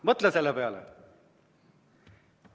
Mõtle selle peale!